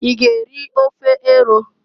I g'eri ofe eru?